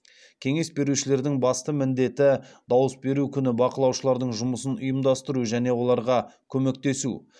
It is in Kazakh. кеңес берушілердің басты міндеті дауыс беру күні бақылаушылардың жұмысын ұйымдастыру және оларға көмектесу